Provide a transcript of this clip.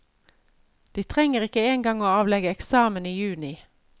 De trenger ikke engang å avlegge eksamen i juni.